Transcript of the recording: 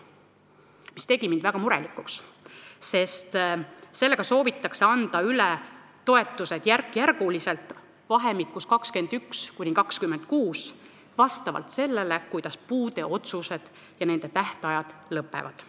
See tegi mind väga murelikuks, sest sellega soovitakse anda toetused järk-järgult üle, vahemikus 2021–2026, sedamööda, kuidas puude määramise otsuste tähtajad lõpevad.